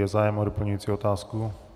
Je zájem o doplňující otázku?